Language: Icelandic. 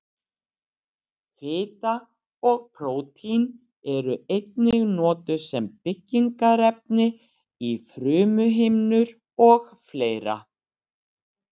Fita og prótín eru einnig notuð sem byggingarefni í frumuhimnur og fleira.